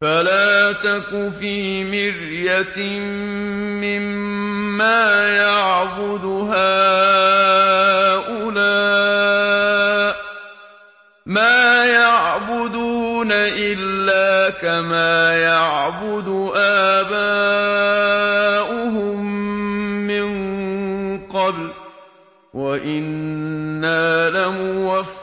فَلَا تَكُ فِي مِرْيَةٍ مِّمَّا يَعْبُدُ هَٰؤُلَاءِ ۚ مَا يَعْبُدُونَ إِلَّا كَمَا يَعْبُدُ آبَاؤُهُم مِّن قَبْلُ ۚ وَإِنَّا لَمُوَفُّوهُمْ